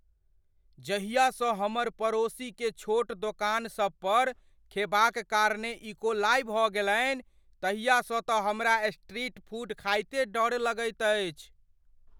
जहिया सँ हमर पड़ोसीकेँ छोट दोकान सबपर खेबाक कारणे इकोलाइ भऽ गेलनि ताहिया सँ तँ हमरा स्ट्रीट फूड खाइत डरे लगैत अछि।